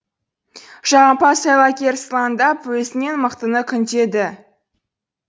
жағымпаз айлакер сылаңдап өзінен мықтыны күндеді